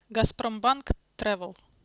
газпромбанк тревел